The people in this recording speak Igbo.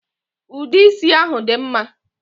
Ude isi ahụ dị mma